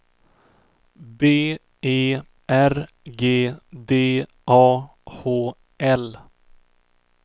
B E R G D A H L